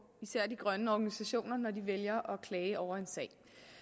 især de grønne organisationer når de vælger at klage over en sag